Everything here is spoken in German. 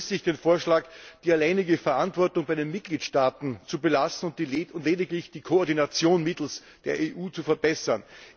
Daher begrüße ich den Vorschlag, die alleinige Verantwortung bei den Mitgliedstaaten zu belassen und lediglich die Koordination mittels der EU zu verbessern.